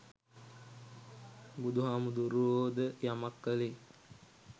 බුදුහාමුදුරුවෝ ද යමක් කළේ